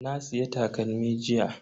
Na siya takalmi jiya.